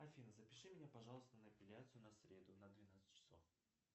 афина запиши меня пожалуйста на эпиляцию на среду на двенадцать часов